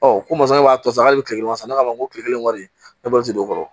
Ɔ ko masakɛ b'a to sa k'ale bɛ tile kelen wasa ne k'a fɔ ko kile kelen wari ne bɛ wari tɛ don o kɔrɔ